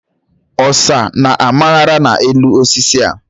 Ọsá na amaghara n'elu osisi a.